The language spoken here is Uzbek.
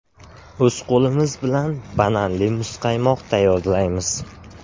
O‘z qo‘limiz bilan bananli muzqaymoq tayyorlaymiz.